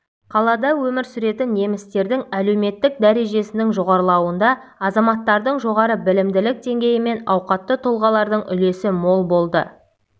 қалада өмір сүретін немістердің әлеуметтік дәрежесінің жоғарылауында азаматтардың жоғары білімділік деңгейі мен ауқатты тұлғалардың үлесі мол болды